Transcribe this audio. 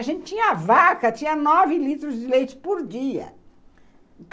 A gente tinha vaca, tinha nove litros de leite por dia.